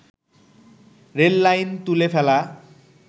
rail line তুলে ফেলা